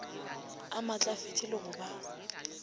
a maatlafetše le go ba